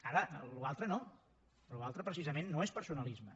ara l’altre no l’altre precisament no és personalisme